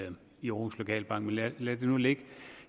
i aarhus lokalbank men lad det nu ligge